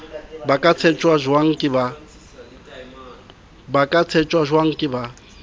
ba ka tsheptjwang ke ba